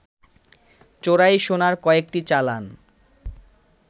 চোরাই সোনার কয়েকটি চালান